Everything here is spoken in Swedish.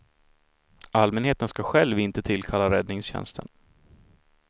Allmänheten ska själv inte tillkalla räddningstjänsten.